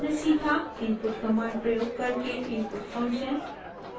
* input command प्रयोग करके input function